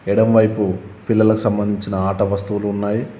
ఎడమవైపు పిల్లలకు సంబంధించిన ఆట వస్తువులు ఉన్నాయి.